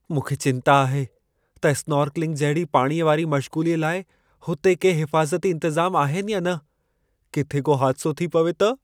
मूंखे चिंता आहे त स्नॉर्कलिंग जहिड़ी पाणीअ वारी मश्ग़ूलीअ लाइ हुते के हिफ़ाज़ती इंतज़ाम आहिनि या न? किथे को हादिसो थी पवे त?